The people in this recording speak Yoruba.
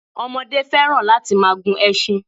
Ọmọdé fẹ́ràn láti máa gun ẹṣin.